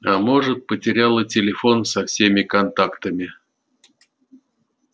а может потеряла телефон со всеми контактами